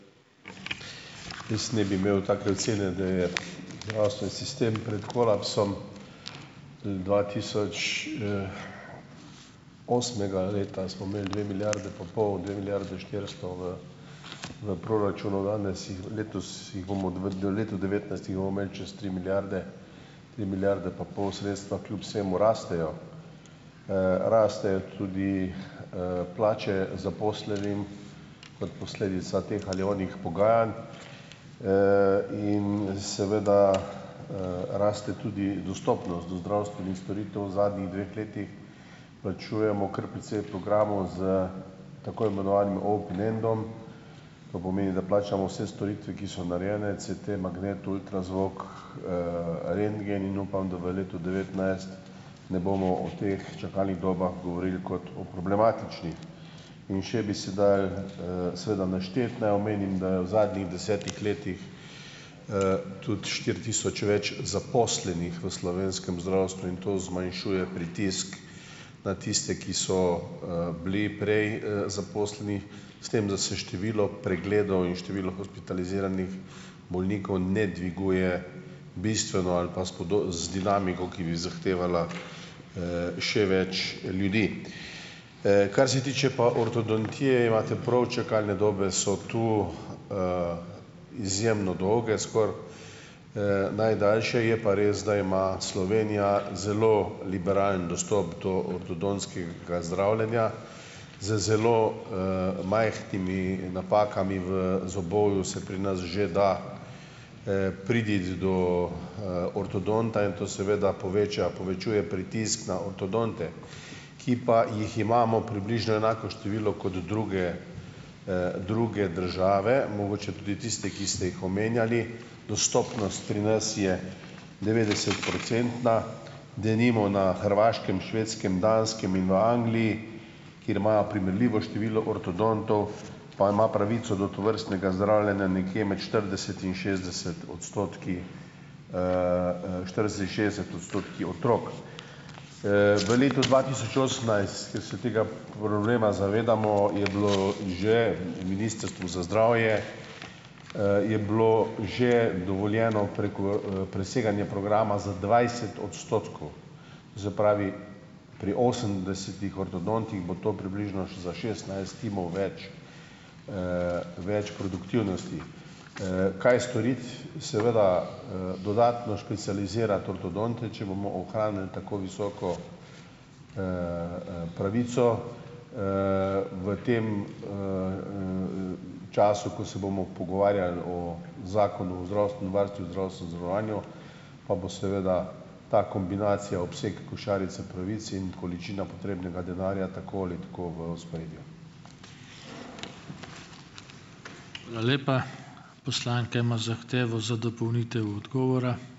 Jaz ne bi imel take ocene, da je zdravstveni sistem pred kolapsom. Dvatisoč, osmega leta smo imeli dve milijardi pa pol, dve milijardi štiristo v v proračunu, danes jih, letos jih bomo v letu devetnajst jih bomo imeli čez tri milijarde, tri milijarde pa pol, sredstva kljub vsemu rastejo. Rastejo tudi, plače zaposlenim kot posledica teh ali onih pogajanj, in seveda, raste tudi dostopnost do zdravstvenih storitev, v zadnjih dveh letih plačujemo kar precej programov s tako imenovanim ob nendom, to pomeni, da plačamo vse storitve, ki so narejene - CT, magnet, ultrazvok, rentgen in upam, da v letu dva tisoč devetnajst ne bomo o teh čakalnih dobah govorili kot o problematičnih. In še bi se dalo, seveda našteti. Naj omenim, da je v zadnjih desetih letih, tudi štiri tisoč več zaposlenih v slovenskem zdravstvu in to zmanjšuje pritisk na tiste, ki so, bili prej, zaposleni, s tem, da se število pregledov in število hospitaliziranih bolnikov ne dviguje bistveno ali pa s pada z dinamiko, ki bi zahtevala, še več ljudi. Kar se tiče pa ortodontije, imate prav - čakalne dobe so tu, izjemno dolge, skoraj, najdaljše, je pa res, da ima Slovenija zelo liberalen dostop do ortodontskega zdravljenja. Z zelo, majhnimi napakami v zobovju se pri nas že da, priti do, ortodonta in to seveda poveča povečuje pritisk na ortodonte, ki pa jih imamo približno enako število kot druge, druge države, mogoče tudi tiste, ki ste jih omenjali. Dostopnost pri nas je devetdesetprocentna, denimo na Hrvaškem, Švedskem, Danskem in v Angliji, kjer imajo primerljivo število ortodontov, pa ima pravico do tovrstnega zdravljenja nekje med štirideset in šestdeset odstotki, štirideset in šestdeset odstotki otrok. V letu dva tisoč osemnajst, ker se tega problema zavedamo, je bilo že v Ministrstvu za zdravje, je bilo že dovoljeno preseganje programa za dvajset odstotkov, to se pravi pri osemdesetih ortodontih bo to približno za šestnajst timov več, več produktivnosti. Kaj storiti? Seveda, dodatno specializirati ortodonte. Če bomo ohranili tako visoko, pravico, v tem času, ko se bomo pogovarjali o Zakonu o zdravstvenem varstvu in zdravstvenem zavarovanju, pa bo seveda ta kombinacija, obseg košarice pravic in količina potrebnega denarja, tako ali tako v ospredju.